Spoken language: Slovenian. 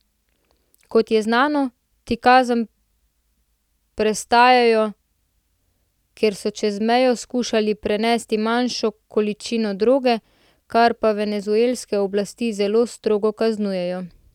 Kot je znano, ti kazen prestajajo, ker so čez mejo skušali prenesti manjšo količino droge, kar pa venezuelske oblasti zelo strogo kaznujejo.